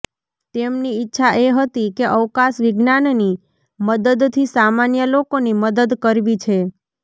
તેમની ઈચ્છા એ હતી કે અવકાશ વિજ્ઞાનની મદદથી સામાન્ય લોકોની મદદ કરવી છે